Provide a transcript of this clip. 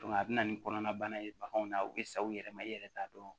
a bɛ na ni kɔnɔnabana ye baganw na u bɛ sa u yɛrɛ ma i yɛrɛ t'a dɔn